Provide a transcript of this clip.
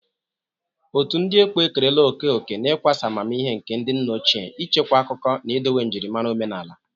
Otu ndị ekpo ekerela oke oke n'ịkwasa amamihe nke ndị nna ochie, ichekwa akụkọ, na idowe njirimara omenala.